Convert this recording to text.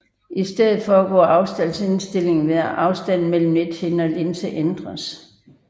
I stedet foregår afstandsindstillingen ved at afstanden mellem nethinde og linse ændres